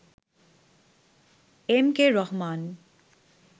M K Rahman